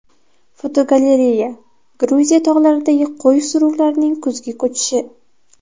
Fotogalereya: Gruziya tog‘laridagi qo‘y suruvlarining kuzgi ko‘chishi.